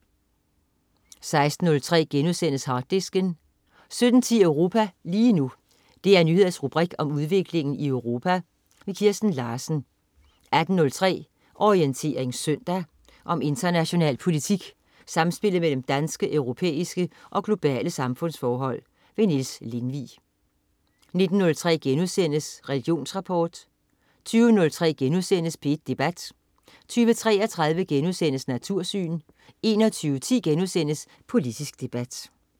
16.03 Harddisken* 17.10 Europa lige nu. DR Nyheders rubrik om udviklingen i Europa. Kirsten Larsen 18.03 Orientering søndag. Om international politik, samspillet mellem danske, europæiske og globale samfundsforhold. Niels Lindvig 19.03 Religionsrapport* 20.03 P1 Debat* 20.33 Natursyn* 21.10 Politisk debat*